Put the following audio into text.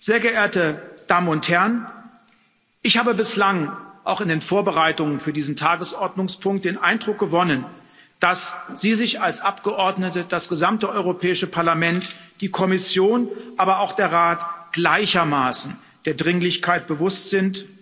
Sehr geehrte Damen und Herren, ich habe bislang, auch in den Vorbereitungen für diesen Tagesordnungspunkt den Eindruck gewonnen, dass Sie sich als Abgeordnete, das gesamte Europäische Parlament, die Kommission, aber auch der Rat gleichermaßen der Dringlichkeit bewusst sind.